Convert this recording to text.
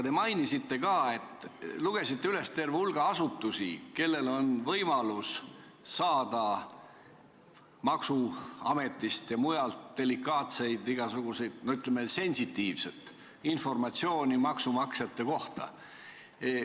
Te lugesite ka üles terve hulga asutusi, kellel on võimalus saada maksuametist ja mujalt delikaatseid andmeid või, ütleme, sensitiivset informatsiooni maksumaksjate kohta.